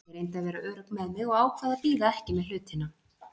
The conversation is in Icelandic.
Ég reyndi að vera örugg með mig og ákvað að bíða ekki með hlutina.